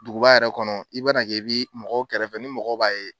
Duguba yɛrɛ kɔnɔ i bana kɛ i bi mɔgɔ kɛrɛfɛ ni mɔgɔ b'a ye.